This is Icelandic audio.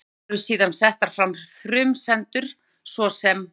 Um þau eru síðan settar fram frumsendur, svo sem: